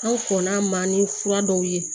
An kɔnna ma ni fura dɔw ye